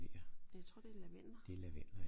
Jeg tror det er lavendler